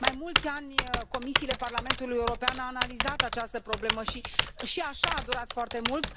Mai mulți ani, comisiile Parlamentului European au analizat această problemă și, chiar și așa, a durat foarte mult.